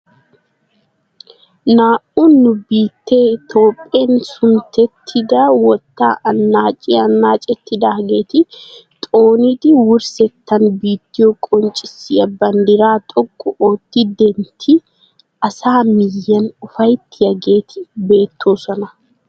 Naa"u nu biittee itoophphen suntettidi wottaa anaaciyaa anaacettidaageti xoonidi wurssetan bittiyoo qonccisiyaa banddiraa xoqqu ootti dentti asaa miyiyaan ufayttiyaageti beettoosona.